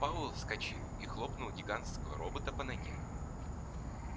пауэлл вскочил и хлопнул гигантского робота по ноге